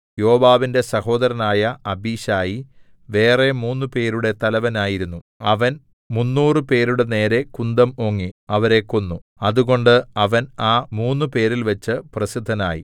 യോവാബിന്റെ സഹോദരനായ അബീശായി വേറെ മൂന്നുപേരുടെ തലവനായിരുന്നു അവൻ മുന്നൂറുപേരുടെ നേരെ കുന്തം ഓങ്ങി അവരെ കൊന്നു അതുകൊണ്ട് അവൻ ആ മൂന്നുപേരിൽവെച്ചു പ്രസിദ്ധനായി